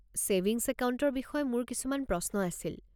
Savings একাউণ্টৰ বিষয়ে মোৰ কিছুমান প্ৰশ্ন আছিল।